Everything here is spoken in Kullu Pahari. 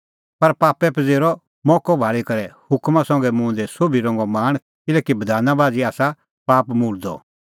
पर पापै किअ मोक्कअ भाल़ी करै हुकमा संघै मुंह दी सोभी रंगो लाल़च़ पैईदा किल्हैकि बधाना बाझ़ी आसा पाप मुल्दअ